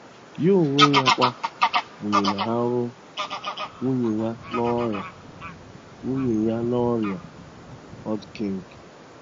Ya onwe ya kwa nwụnahụrụ nwunye ya n'ọrịa nwunye ya n'ọrịa Hodgkin’.